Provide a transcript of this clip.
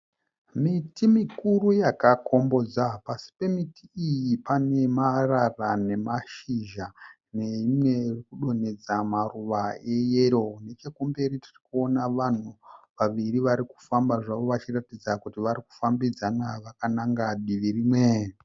Miti mukuru yakakombodza. Pasi pemiti iyi pane marara nemashizha neimwe irikudonhedza maruva eyero. Nechekumberi tirikuona vanhu vaviri varikufamba zvavo vachiratidza kuti vari kufambidzana vakananga divi rimwe.